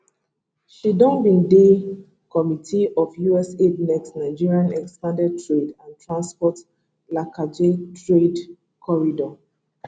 she bin dey di committee of us aid nextt nigerian expanded trade and transport lakaji trade corridor